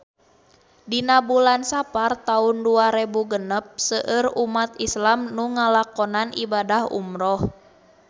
Dina bulan Sapar taun dua rebu genep seueur umat islam nu ngalakonan ibadah umrah